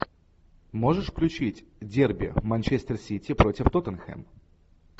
можешь включить дерби манчестер сити против тоттенхэм